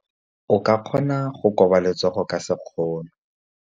O ka kgona go koba letsogo ka sekgono.